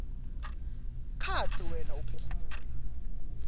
kantsi wena uphefumula